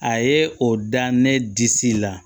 A ye o da ne disi la